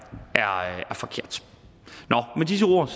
forkert med disse ord